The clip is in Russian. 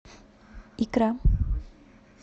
икра